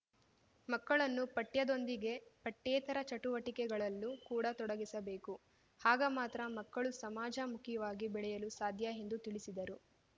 ಮಕ್ಕಳನ್ನು ಪಠ್ಯದೊಂದಿಗೆ ಪಠ್ಯೇತರ ಚಟುವಟಿಕೆಗಳಲ್ಲೂ ಕೂಡ ತೊಡಗಿಸಬೇಕು ಆಗ ಮಾತ್ರ ಮಕ್ಕಳು ಸಾಮಾಜ ಮುಖಿವಾಗಿ ಬೆಳೆಯಲು ಸಾಧ್ಯ ಎಂದು ತಿಳಿಸಿದರು